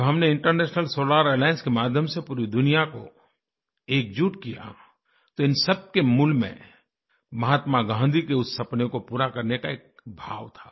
जब हमनें international solar alliance के माध्यम से पूरी दुनिया को एकजुट किया तो इन सबके मूल में महात्मा गाँधी के उस सपने को पूरा करने का एक भाव था